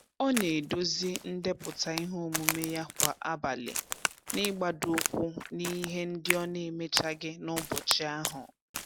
Ọ na-edozi ndepụta ihe omume ya kwa abalị, n'igbadoụkwụ n'ihe ndị ọ n'emechaghị n'ụbọchị ahụ.